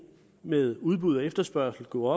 med udbud og efterspørgsel gå